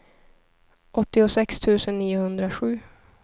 åttiosex tusen niohundrasju